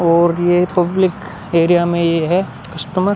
और ये public area में है कॉस्टमर --